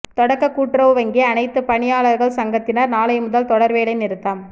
தொடக்க கூட்டுறவு வங்கி அனைத்துப் பணியாளா்கள் சங்கத்தினா் நாளை முதல் தொடா் வேலை நிறுத்தம்